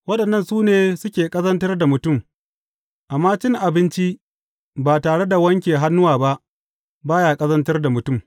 Waɗannan su ne suke ƙazantar da mutum; amma cin abinci ba tare da wanke hannuwa ba, ba ya ƙazantar da mutum.